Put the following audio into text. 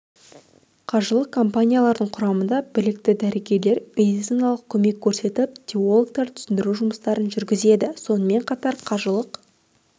қажылық компанияларының құрамында білікті дәрігерлер медициналық көмек көрсетіп теологтар түсіндіру жұмыстарын жүргізеді сонымен қатар қажылық